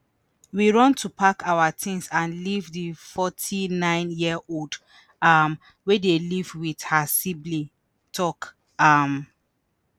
“we run to pack our tins and leave” di 49-year-old um wey dey live wit her sibling tok. um